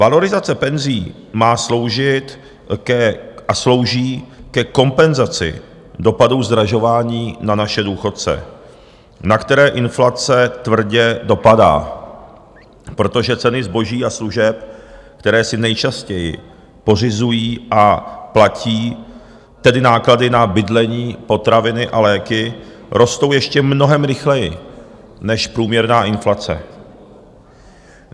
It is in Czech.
Valorizace penzí má sloužit a slouží ke kompenzaci dopadů zdražování na naše důchodce, na které inflace tvrdě dopadá, protože ceny zboží a služeb, které si nejčastěji pořizují, a platí tedy náklady na bydlení, potraviny a léky, rostou ještě mnohem rychleji než průměrná inflace.